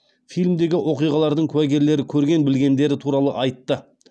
фильмдегі оқиғалардың куәгерлері көрген білгендері туралы айтты